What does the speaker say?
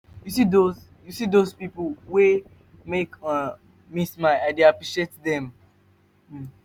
you see dose you see dose pipo wey dey make um me smile i dey appreciate dem. um